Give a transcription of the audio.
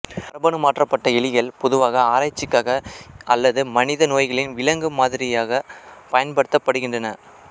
மரபணு மாற்றப்பட்ட எலிகள் பொதுவாக ஆராய்ச்சிக்காக அல்லது மனித நோய்களின் விலங்கு மாதிரிகளாகப் பயன்படுத்தப்படுகின்றன